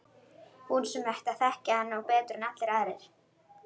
Hún sem ætti að þekkja hann betur en allir aðrir.